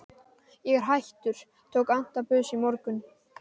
Ég er hættur, tók antabus í morgun.